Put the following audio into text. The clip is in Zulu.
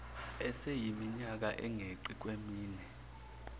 esiyiminyaka engeqi kwemine